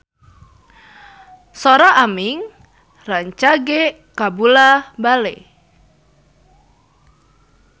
Sora Aming rancage kabula-bale